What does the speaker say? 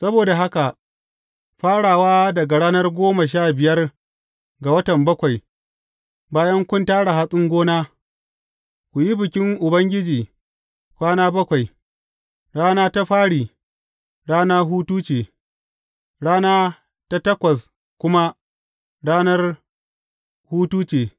Saboda haka, farawa daga ranar goma sha biyar ga watan bakwai, bayan kun tara hatsin gona, ku yi bikin Ubangiji kwana bakwai; rana ta fari, rana hutu ce, rana ta takwas kuma rana hutu ce.